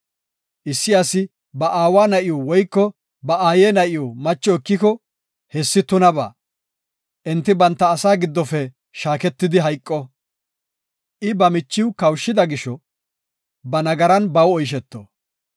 “Issi asi ba aawa na7iw woyko ba aaye na7iw macho ekiko, hessi tunabaa. Enti banta asaa giddofe shaaketidi hayqo. I ba michiw kawushida gisho, ba nagaran baw oysheto.